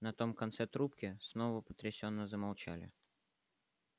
на том конце трубки снова потрясенно замолчали